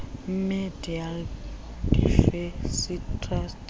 media diversity trust